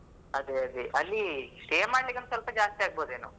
ಅದೇ ಅದೇ ಅಲ್ಲಿ stay ಮಾಡ್ಲಿಕ್ಕೆ ಸ್ವಲ್ಪ ಜಾಸ್ತಿ ಆಗಬಹುದೇನೋ.